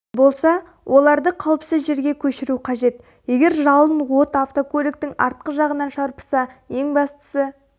болса оларды қауіпсіз жерге көшіру қажет егер жалын от автокөліктің артқы жағын шарпыса ең бастысы